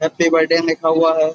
Happy birthday लिखा हुआ है।